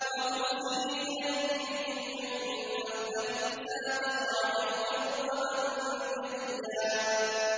وَهُزِّي إِلَيْكِ بِجِذْعِ النَّخْلَةِ تُسَاقِطْ عَلَيْكِ رُطَبًا جَنِيًّا